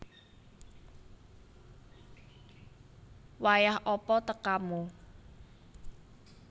Wayah apa tekamu